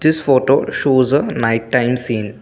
this photo shows a night time scene.